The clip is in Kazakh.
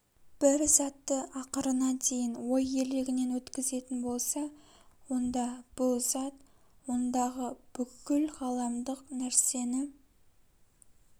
бір затты ақырына дейін ой елегінен өткізетін болса онда бұл зат ондағы бүкіл ғаламдық нәрсені